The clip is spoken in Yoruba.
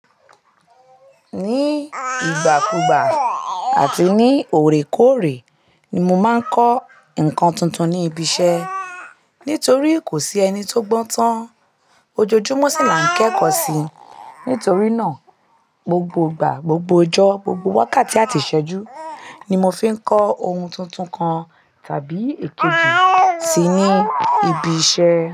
Ní ìgbàkúgbà àti ní òrekóòrè ni mo máa ń kọ́ nǹkan tuntun ní ibi iṣẹ́ nítorí kò sí ẹni tó gbọ́n tán. Ojoojúmọ́ sì là ń kẹ́kọ̀ọ́ síi. Nítorí náà, gbogbo ìgbà, gbogbo ọjọ́, gbogbo wákàtí àti ìṣẹ́jú ni mo fi ń kọ ohun tuntun kan tàbí èkejì sì ní ibi iṣẹ́.